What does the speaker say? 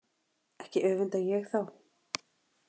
Ekki öfunda ég þá